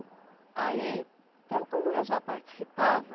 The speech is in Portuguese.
Aí, então, como eu já participava,